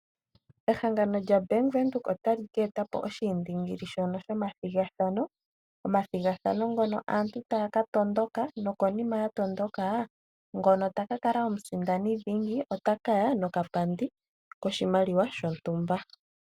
Ehangano lyaBank Windhoek otali ka e ta po oshiindingili shono shomathigathano, omathigathano ngono aantu taya ka tondoka nokonima ya tondoka ngono taka kala omusindani dhingi otaka ya nokapandi koshimaliwa shontumba.